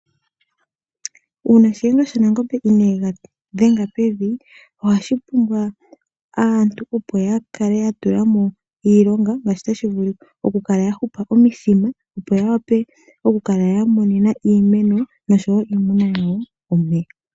Uuna Shiyenga shaNangombe inee ga dhenga pevi, ohashi pumbwa aantu opo ya kale ya tula mo iilonga ngaashi tashi vulika. Oku kala ya hupa omithima opo ya wape okukala ya monena iimeno, nosho wo iimuna yawo omeya.